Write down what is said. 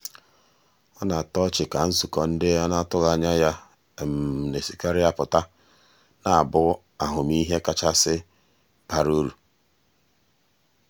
ọ na-atọ ọchị ka nzukọ ndị a na-atụghị anya ya na-esikarị apụta na-abụ ahụmịhe kachasị bara uru.